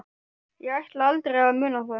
Ég ætlaði aldrei að muna það.